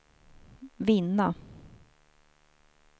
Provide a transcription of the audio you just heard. vinna